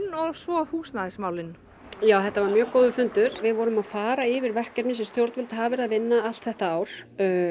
og svo húsnæðismálin þetta var mjög góður fundur við vorum að fara yfir verkefni sem stjórnvöld hafa verið að vinna allt þetta ár